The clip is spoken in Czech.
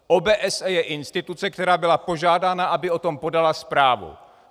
OBSE je instituce, která byla požádána, aby o tom podala zprávu.